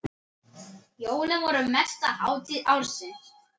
Jólin voru mesta hátíð ársins.